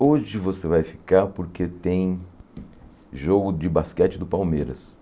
Hoje você vai ficar porque tem jogo de basquete do Palmeiras.